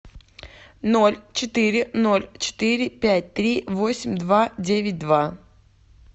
ноль четыре ноль четыре пять три восемь два девять два